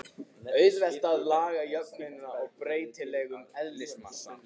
Auðvelt er að laga jöfnuna að breytilegum eðlismassa.